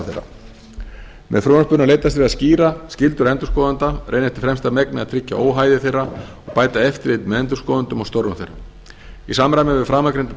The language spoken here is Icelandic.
þeirra með frumvarpinu er leitast við að skýra skyldur endurskoðenda reyna eftir fremsta megni að tryggja óhæði þeirra og bæta eftirlit með endurskoðendum og störfum þeirra í samræmi við framangreinda tilskipun er